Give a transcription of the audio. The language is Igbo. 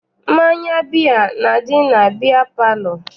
Mmanya biya na-adị na biya palọ.